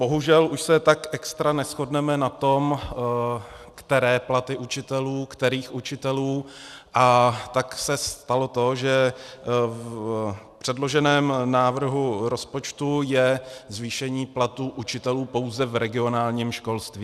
Bohužel, už se tak extra neshodneme na tom, které platy učitelů, kterých učitelů, a tak se stalo to, že v předloženém návrhu rozpočtu je zvýšení platů učitelů pouze v regionálním školství.